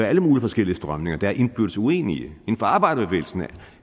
alle mulige forskellige strømninger der er indbyrdes uenige inden for arbejderbevægelsen